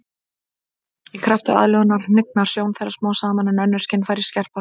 Í krafti aðlögunar hnignar sjón þeirra smám saman en önnur skynfæri skerpast.